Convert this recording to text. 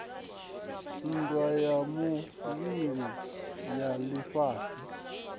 nndwa ya vhuvhili ya lifhasi